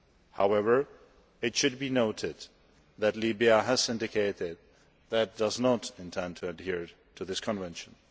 However, it should be noted that Libya has indicated that it does not intend to adhere to this Convention.